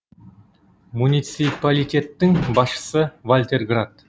муниципалитеттің басшысы вальтер грат